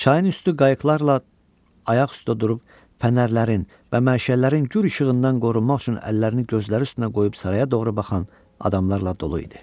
Çayın üstü qayıqlarla ayaq üstə durub fənərlərin və məşəllərin gür işığından qorunmaq üçün əllərini gözləri üstünə qoyub saraya doğru baxan adamlarla dolu idi.